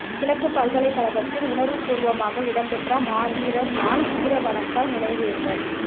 கிழக்குப் பல்கலைக்கழகத்தில் உணர்வு பூர்வமாக இடம்பெற்ற மாவீரர் நாள் வீரவணக்க நினைவேந்தல்